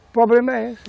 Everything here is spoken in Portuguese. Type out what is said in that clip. O problema é esse.